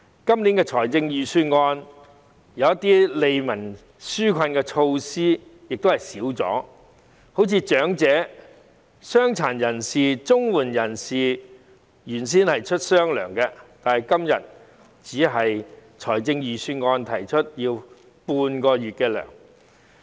今年預算案中一些利民紓困的措施亦已減少，例如長者、傷殘人士、綜援人士原先是有"雙糧"的，但今次的預算案只提出發放半個月糧。